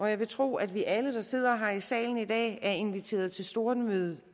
jeg vil tro at vi alle der sidder her i salen i dag er inviteret til stormøde